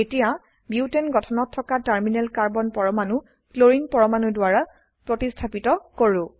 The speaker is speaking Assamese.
এতিয়া বিউটেন গঠনত থকা টাৰ্মিনেল কাৰ্বন পৰমাণু ক্লোৰিন পৰমাণু দ্বাৰা প্ৰতিস্থাপিত কৰো